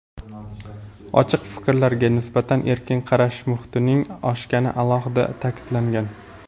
ochiq fikrlarga nisbatan erkin qarash muhitining oshgani alohida ta’kidlangan.